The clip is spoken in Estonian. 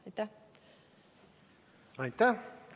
Aitäh!